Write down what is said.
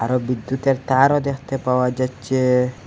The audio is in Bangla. ও বিদ্যুতের তারও দেখতে পাওয়া যাচ্ছে।